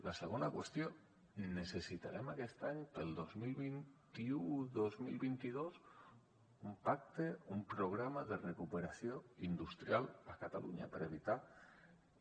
la segona qüestió necessitarem aquest any per al dos mil vint u dos mil vint dos un pacte un programa de recuperació industrial a catalunya per evitar que